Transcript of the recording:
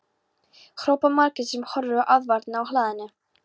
hrópar Margrét sem horfir á aðfarirnar af hlaðinu.